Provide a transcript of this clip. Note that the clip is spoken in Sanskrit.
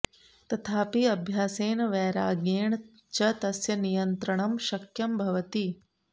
तथापि अभ्यासेन वैराग्येण च तस्य नियन्त्रणं शक्यं भवति